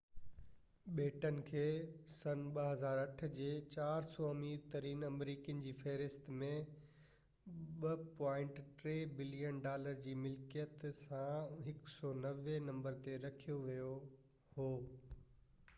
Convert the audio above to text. بيٽن کي 2008ع جي 400 امير ترين آمريڪين جي فهرست ۾ 2.3 بلين ڊالر جي ملڪيت سان 190 هين نمبر تي رکيو يو هو